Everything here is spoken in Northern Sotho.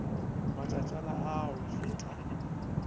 matšatšana a a go feta